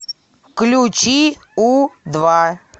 включи у два